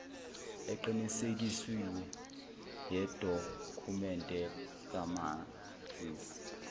eqinisekisiwe yedokhumende kamazisi